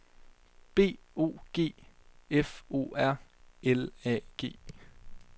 B O G F O R L A G